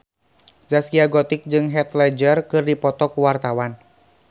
Zaskia Gotik jeung Heath Ledger keur dipoto ku wartawan